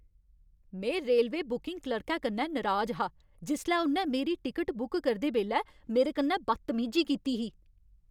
में railway booking क्लर्कै कन्नै नराज हा जिसलै उ'न्नै मेरी टिकट बुक करदे बेल्लै मेरे कन्नै बदतमीजी कीती ही।